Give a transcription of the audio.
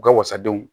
U ka wasadenw